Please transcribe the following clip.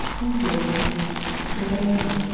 Pul yox, çörək yox.